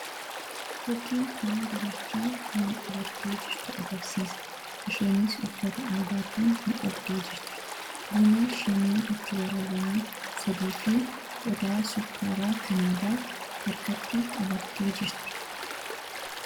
fakkiin kun dubartii buna-qabattee jirtu agarsiisa. Isheenis uffata aadaatiin midhagdee jirti buna shinii itti waraabame sadii fi qodaa sukkaaraa kan aadaa harkatti qabattee jirti.